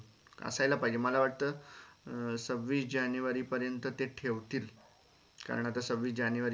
अं सव्वीस जानेवारी पर्यंत ते ठेवतील कारण आता सव्वीस जानेवारी